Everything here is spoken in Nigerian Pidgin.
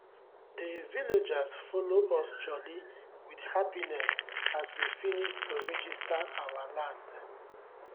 dey villagers follow us jolly with happiness as we finis to regista our land